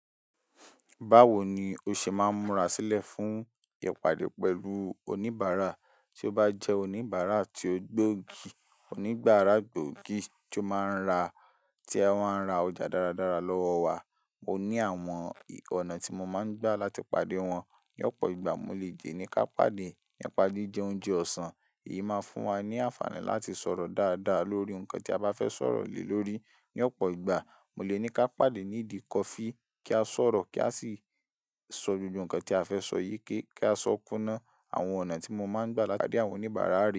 Báwo ni o ṣe máa ń múra sílẹ̀ fún ìpàdé pẹ̀lú oníbàárà? Tí ó bá jẹ́ oníbàárà tí ó gbóògì, oníbàárà gbóògì tí ó máa ń ra, tí a máa ń ra ọjà dáradára lọ́wọ́ wa, mo ní àwọn ọ̀nà tí mo máa ń gbà láti pàdé wọn. Ní ọ̀pọ̀ ìgbà, mo lè jẹ́ ní ká pàdé nípa jíjẹ oúnjẹ ọ̀sán. Èyí máa fún wa ní àǹfààní láti sọ̀rọ̀ dáadáa lórí nǹkan tí a bá fẹ́ sọ̀rọ̀ lè lórí. Ní ọ̀pọ̀ ìgbà, mo lè ní ká pàdé ní ìdí kọfí kí a sọ̀rọ̀ kí a sì sọ gbogbo nǹkan tí a fẹ́ sọ yí kí a sọ kúná. Àwọn ọ̀nà tí mo máa ń gbà láti pàdé àwọn oníbàárà rè.